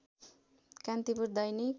Kantipur Dainik